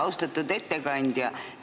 Austatud ettekandja!